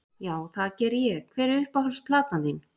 Já, það geri ég Hver er uppáhalds platan þín?